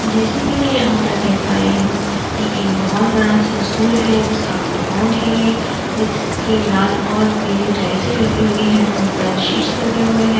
जैसे कि मैं यहाँ पर देख पा रही हूं कि ये एक बोहोत बड़ा सा स्कूल है जिसका कंपाउंड है ये जिसके लाल और पीली टाइल्से लगी हुई है ऊपर शीट्स लगे हुए हैं।